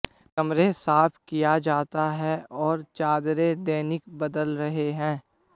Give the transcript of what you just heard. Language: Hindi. कमरे साफ किया जाता है और चादरें दैनिक बदल रहे हैं